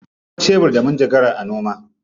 Akwai shebur da manjagara a noma.